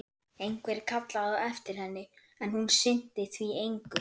Einhver kallaði á eftir henni, en hún sinnti því engu.